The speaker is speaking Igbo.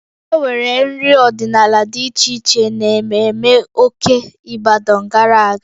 E nwere nri ọdịnala dị iche iche n'ememme Oke Ibadan gara aga